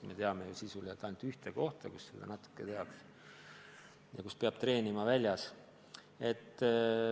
Me teame ju ainult ühte kohta, kus seda natuke tehakse ja kus peab treenima väljas.